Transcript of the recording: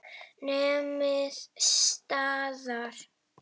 Nemið staðar!